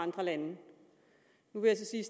andre lande nu vil jeg